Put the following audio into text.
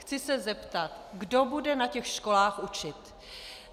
Chci se zeptat: Kdo bude na těch školách učit?